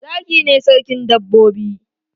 Zaki ne sarkin dabbobi